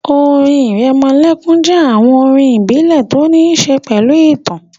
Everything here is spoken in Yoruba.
Orin ìrẹmọlẹ́kún jẹ́ àwọn orin ìbílẹ̀ tó ní ṣe pẹ̀lú ìtàn